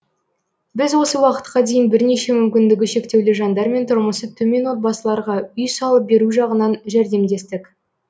біз осы уақытқа дейін бірнеше мүмкіндігі шектеулі жандар мен тұрмысы төмен отбасыларға үй салып беру жағынан жәрдемдестік